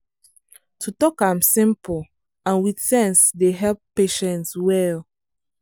to talk am simple and with sense dey help patients well.